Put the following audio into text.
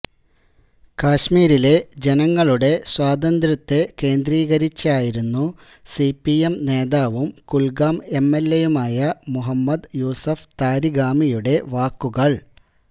കശ്മീരിലെ ജനങ്ങളുടെ സ്വാതന്ത്ര്യത്തെ കേന്ദ്രീകരിച്ചായിരുന്നു സിപിഎം നേതാവും കുൽഗാം എംഎൽഎയുമായ മുഹമ്മദ് യൂസഫ് താരിഗാമിയുടെ വാക്കുകൾ